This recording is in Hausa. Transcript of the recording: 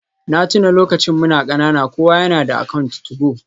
Na tuna lokacin muna kanana kowa yana da account 2go.